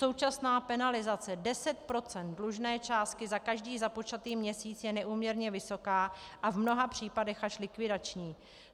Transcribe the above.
Současná penalizace 10 % dlužné částky za každý započatý měsíc je neúměrně vysoká a v mnoha případech až likvidační.